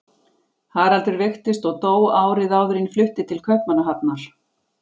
Haraldur veiktist og dó árið áður en ég flutti til Kaupmannahafnar.